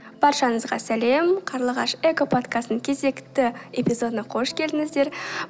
баршаңызға сәлем қарлығаш экоподкастының кезекті эпизодына қош келдіңіздер